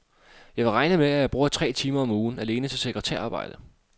Jeg vil regne med, at jeg bruger tre timer om ugen alene til sekretærarbejde.